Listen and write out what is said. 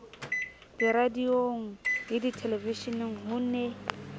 diradiong le dithelevisheneng ho ne